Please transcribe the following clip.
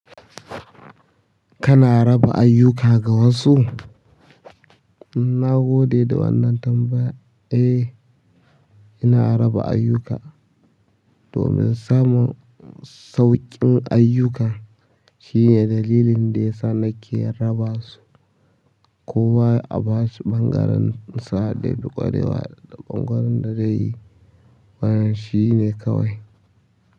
Kana raba ayyuka ga wasu? Na gode da wannan tambaya. Eh, ina raba ayyuka domin samun sauƙin ayyuka shine dalilin da ya sa nake raba su. Kowa a ba shi ɓangaren sa da ya fi ƙwarewa a ga ƙoƙarin da zaiyi wannan shine kawai.